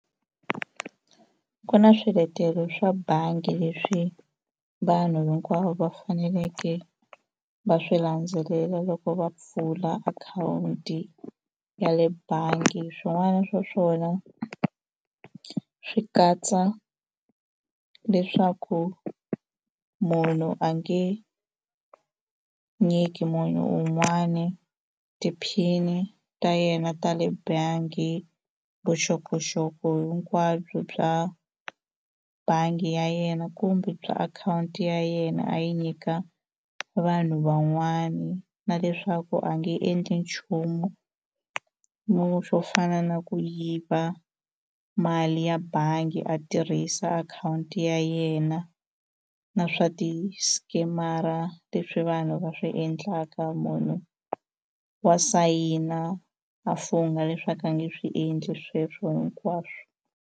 Ku na swiletelo swa bangi leswi vanhu hinkwavo va faneleke va swi landzelela loko va pfula akhawunti ya le bangi swin'wana swa swona swi katsa leswaku munhu a nge nyiki munhu un'wani ti-pin-i ta yena ta le bangi vuxokoxoko hinkwabyo bya bangi ya yena kumbe bya akhawunti ya yena a yi nyika vanhu van'wani na leswaku a nge endli nchumu mo xo fana na ku yiva mali ya bangi a tirhisa akhawunti ya yena na swa ti-scammer leswi vanhu va swi endlaka munhu wa sayina a fungha leswaku a nge swi endli sweswo hinkwaswo.